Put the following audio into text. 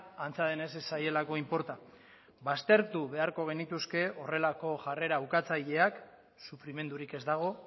antza denez ez zaielako inporta baztertu beharko genituzke horrelako jarrera ukatzaileak sufrimendurik ez dago